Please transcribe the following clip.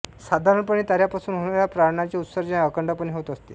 साधारणपणे ताऱ्यांपासून होणाऱ्या प्रारणाचे उत्सर्जन अखंडपणे होत असते